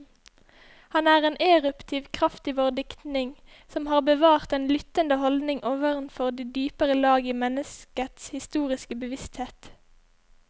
Han er en eruptiv kraft i vår diktning, som har bevart den lyttende holdning overfor de dypere lag i menneskets historiske bevissthet.